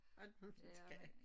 Alt muligt det kan jeg ik